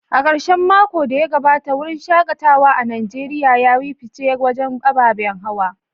A karshen makon da ya gabata, wurin shaKatawa a Najeriya ya yi fice wajen ababen hawa.